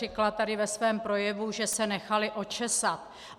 Řekla tady ve svém projevu, že se nechali očesat.